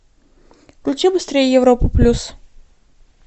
включи быстрей европу плюс